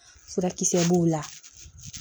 Furakisɛ b'o la